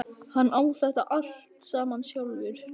Hann á þetta allt saman sjálfur.